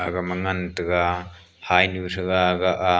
aga ma ngan tega hainu thega agah ah.